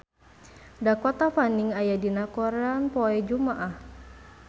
Dakota Fanning aya dina koran poe Jumaah